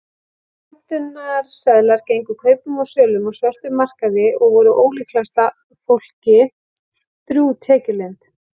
Skömmtunarseðlar gengu kaupum og sölum á svörtum markaði og voru ólíklegasta fólki drjúg tekjulind.